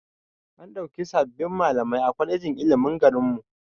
An ɗauki sabbin malamai a kwalejin ilimin garinmu